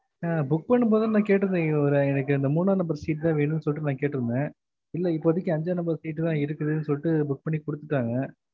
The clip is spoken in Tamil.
ஆஹ் book பண்ணும் போதே நான் கேட்டுருந்தே அஹ் எனக்கு ஒரு மூணா ந number seat தா வேணும்ன்னு சொல்லிட்டு நா கேட்டுருந்தே இல்ல இப்போதைக்கு அஞ்சா number seat தா இருக்கு சொல்லிட்டு book பண்ணி குடுத்துட்டாங்க